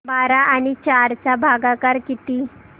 बारा आणि चार चा भागाकर किती